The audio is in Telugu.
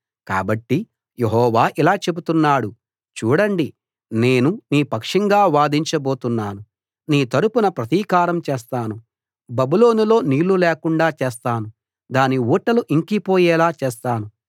కాబట్టి యెహోవా ఇలా చెప్తున్నాడు చూడండి నేను నీ పక్షంగా వాదించ బోతున్నాను నీ తరపున ప్రతీకారం చేస్తాను బబులోనులో నీళ్ళు లేకుండా చేస్తాను దాని ఊటలు ఇంకిపోయేలా చేస్తాను